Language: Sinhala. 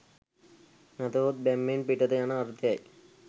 නැතහොත් බැම්මෙන් පිටත යන අර්ථය යි